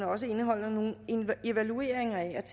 også indeholder nogle evalueringer af